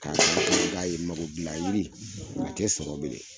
a i b'a ye mago gilan yiri a tɛ sɔrɔ bilen.